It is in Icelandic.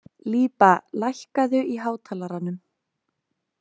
Líba, lækkaðu í hátalaranum.